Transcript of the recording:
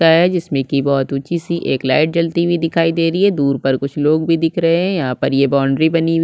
का है जिसमे की बुहुत ऊंची सी एक लाइट जलती हुई दिखायी दे रही है दूर पर कुछ लोग भी दिख रहे हैं यहाँ पर ये बाउंड्री बनी हुई --